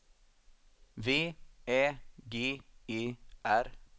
V Ä G E R